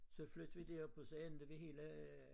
Så flyttede vi derop og så endte vi hele øh